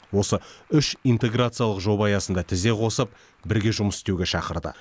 осы үш интеграциялық жоба аясында тізе қосып бірге жұмыс істеуге шақырды